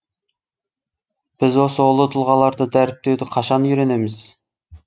біз осы ұлы тұлғаларды дәріптеуді қашан үйренеміз